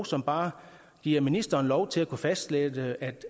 som bare giver ministeren lov til at kunne fastlægge